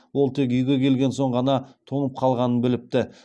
ол тек үйге келген соң ғана тоңып қалғанын біліпті